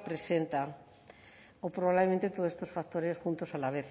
presenta o probablemente todos estos factores juntos a la vez